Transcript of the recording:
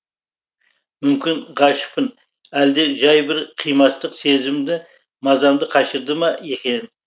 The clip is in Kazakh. мүмкін ғашықпын әлде жай бір қимастық сезімді мазамды қашырды ма екен